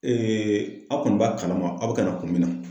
a kɔni b'a kalama a be ka na kun min na.